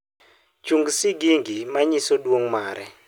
chung sigingi manyiso duong mare